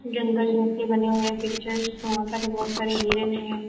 जंगल घर से बने हुए पिक्चर्स वहां पर बहुत सारे हिरन है।